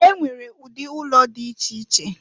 E nwere ụdị ụnọ di iche iche.